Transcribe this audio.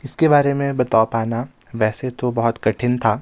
इसके बारे में बता पाना वैसे तो बहुत कठिन था.